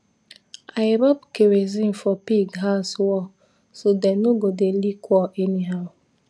i rub kerosene for pig house wall so dem no go dey lick wall anyhow